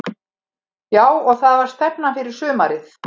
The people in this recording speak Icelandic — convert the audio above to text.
Já og það var stefnan fyrir sumarið.